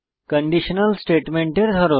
conditional স্টেটমেন্টের ধরন